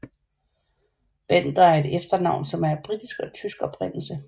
Bender er et efternavn som er af britisk og tysk oprindelse